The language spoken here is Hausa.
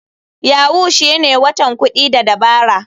Yahoo shine watan kuɗi da dabara..